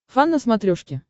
фан на смотрешке